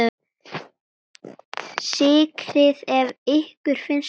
Sykrið ef ykkur finnst þurfa.